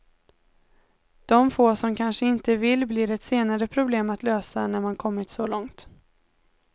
De få som kanske inte vill blir ett senare problem att lösa, när man kommit så långt.